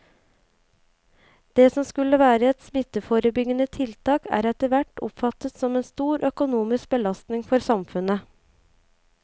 Det som skulle være et smitteforebyggende tiltak er etterhvert oppfattet som en stor økonomisk belastning for samfunnet.